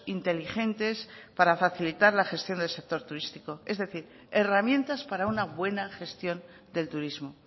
inteligentes para facilitar la gestión del sector turístico es decir herramientas para una buena gestión del turismo